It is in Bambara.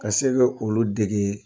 Ka se ka olu dege